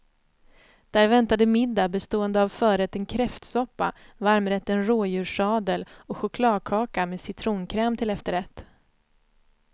Där väntade middag bestående av förrätten kräftsoppa, varmrätten rådjurssadel och chokladkaka med citronkräm till efterrätt.